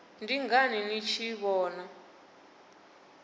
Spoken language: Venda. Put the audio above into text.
ndi ngani ni tshi vhona